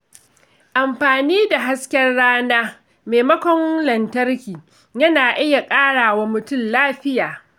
Amfani da hasken rana maimakon lantarki yana iya ƙara wa mutum lafiya.